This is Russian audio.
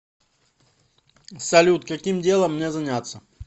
салют каким делом мне заняться